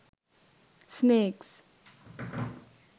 snakes